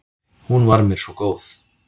Hún var mér svo góð.